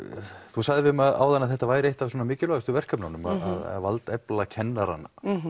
þú sagðir við mig áðan um að þetta væri eitt af mikilvægustu verkefnununum að valdefla kennara